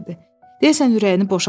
Deyəsən ürəyini boşaltmışdı.